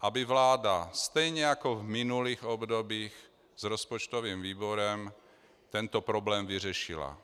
aby vláda stejně jako v minulých obdobích s rozpočtovým výborem tento problém vyřešila.